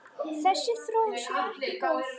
Þessi þróun sé ekki góð.